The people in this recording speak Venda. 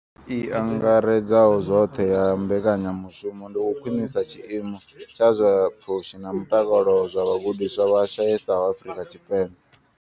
I angaredzaho zwoṱhe ya mbekanyamushumo ndi u khwinisa tshiimo tsha zwa pfushi na mutakalo zwa vhagudiswa vha shayesaho Afrika Tshipembe.